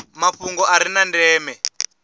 mafhungo a re na ndeme